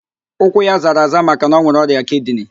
Ụkwụ ya zara aza maka na ọ nwere ọrịa kidini